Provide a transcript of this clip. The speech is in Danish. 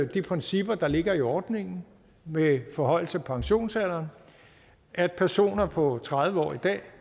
de principper der ligger i ordningen med forhøjelse af pensionsalderen at personer på tredive år i dag